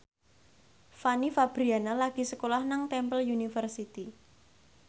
Fanny Fabriana lagi sekolah nang Temple University